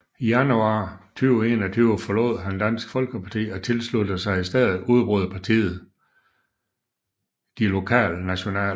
I januar 2021 forlod han Dansk Folkeparti og tilsluttede sig i stedet udbryderpartiet De Lokalnationale